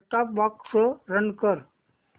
set top box run कर